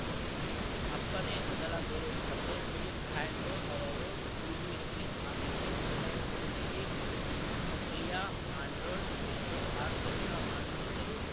ಅಪ್ಪನೇ ಮೊದಲ ಗುರು ತಂದೆ ಫಿಲಿಪ್ ಆಂಡ್ರೂ ಅವರು ಮ್ಯೂಜಿಷಿಯನ್‌ ಆಗಿದ್ದು ನನ್ನ ಹೆಸರಿನಲ್ಲಿಯೇ ಪ್ರಿಯಾ ಆ್ಯಂಡ್ರೂ ಎಂದು ಆರ್ಕೆಸ್ಟ್ರಾ ಮಾಡಿದ್ದರು